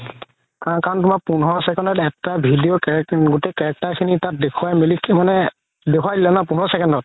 কাৰণে তুমাৰ পোন্ধৰ second ত এটা video গুতেই character খিনি তাত দেখুৱাই মিলি মানে দেখুৱাই দিলে ন পোন্ধৰ second ত